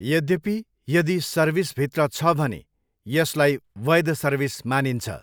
यद्यपि, यदि सर्भिस भित्र छ भने, यसलाई वैध सर्भिस मानिन्छ।